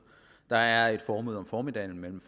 der er et formøde om formiddagen mellem